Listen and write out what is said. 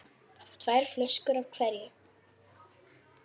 Tvær flöskur af hverju.